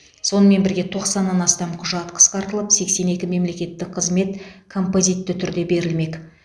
сонымен бірге тоқсаннан астам құжат қысқартылып сексен екі мемлекеттік қызмет композитті түрде берілмек